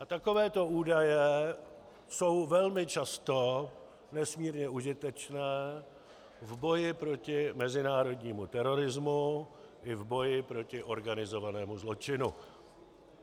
A takovéto údaje jsou velmi často nesmírně užitečné v boji proti mezinárodnímu terorismu i v boji proti organizovanému zločinu.